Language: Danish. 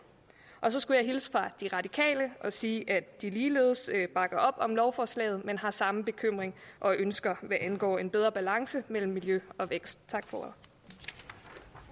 så skulle jeg hilse fra de radikale og sige at de ligeledes bakker op om lovforslaget men har samme bekymringer og ønsker hvad angår en bedre balance mellem miljø og vækst